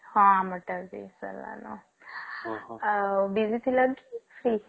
ହଁ ଆମର ଟା ବି ସାରିଲାନ ଆଉ busy ଥିଲ କି free?